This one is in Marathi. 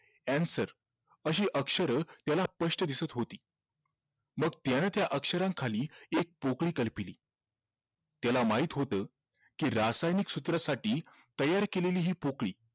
answer अशी अक्षर त्याला स्पष्ट दिसत होती मग त्याने त्या अक्षराखाली एक पोकळी कल्पिली त्याला माहित होत कि रासायनिक सूत्रासाठी तयार केलेली हि पोकळी